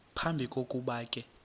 phambi kokuba ke